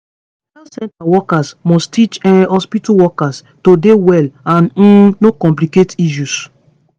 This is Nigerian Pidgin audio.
health center workers must teach um hospitu workers to dey well and um no complicate issues